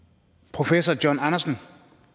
professor john andersen